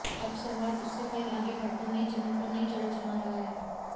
अब संवाद उससे कहीं आगे बढ़कर नई जमीन पर नई जड़े जमा रहा है